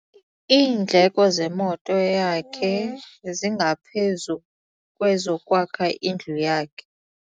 Iindleko zemoto yakhe zingaphezu kwezokwakha indlu yakhe.